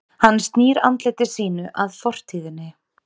hann snýr andliti sínu að fortíðinni